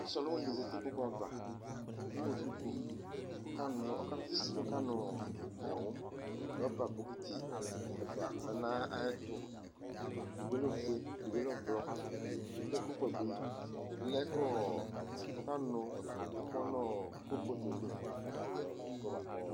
ɔse ɔluwini di zati no ikpoku ava ko ewu duku ko ɔka no ɔka fa isi ko ɔka no gawu rɔba bokiti ɛfua lɛ no ayɛto edigbo lɛ ofue edigbo lɛ ublɔ ko kulpɔt bi lɛ ko ɔka nu amɔ no kulpɔt yɛ li